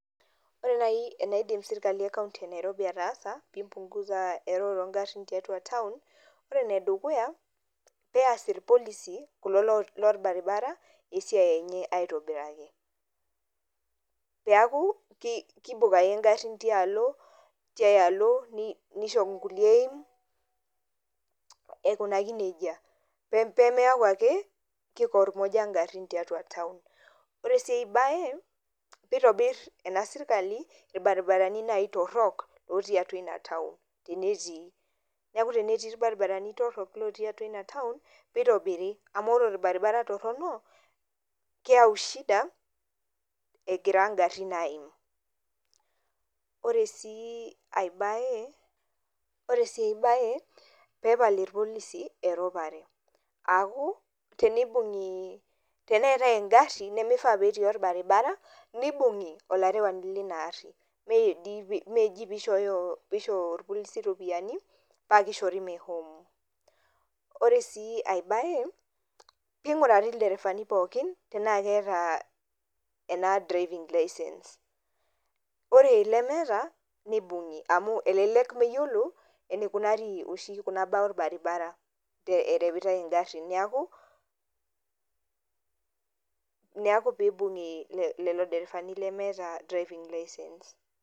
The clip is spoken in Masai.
Ore naaji enaidim sirkali ekaunti enairobi ataasa pipungusa eroro oogarin tiatua taon, ore enedukuya peas ilpolisi kulo lobaribari esiai enye aitobiraki, peeku kiibok ake igarin tiai alo nisho nisho ingulie aikunaki nejia, peemeeku ake kipornyoka igarin tiatua taon. Ore sii ai bae peeitobir ena sirkali ilbaribarani naaji torok, tiatua ina taon tenetii. Neeku tenetii ilbaribarani torok otii atua ina taon nitobiri, amu ore olbaribara torono keeu shida egira igarin aaim. Ore sii enkae bae pee epal ilpolisi eropare, aaku tenetai engari nimifaa peetii olbaribara nibunki olarewani leina ari. Meji pee isho olpolisi iropiyiani paa kishori meshomo. Ore sii ai bae pee inkurari ilderefani poookin, tenaa keeta ena driving license ore ilemeeta nibungi amu elelek meyiolo eneikunari oshi kuna baa olbaribara ereutai ingarin, neeku peeibunki lelo derefani lemeeta driving license